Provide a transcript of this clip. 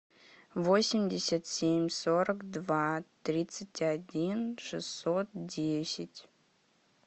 восемьдесят семь сорок два тридцать один шестьсот десять